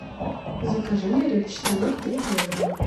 закажи мне репчатый лук три килограмма